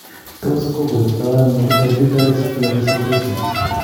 Tos kokoitono hereditary spherocytosis?